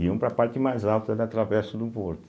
Iam para a parte mais alta da Travessa do Porto.